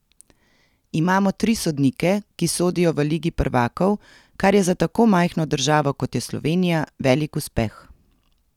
Imamo tri sodnike, ki sodijo v ligi prvakov, kar je za tako majhno državo, kot je Slovenija, velik uspeh.